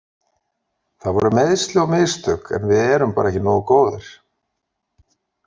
Það voru meiðsli og mistök en við erum bara ekki nógu góðir.